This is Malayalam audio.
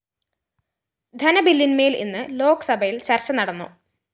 ധനബില്ലിന്മേല്‍ ഇന്ന് ലോക്‌സഭയില്‍ ചര്‍ച്ച നടന്നു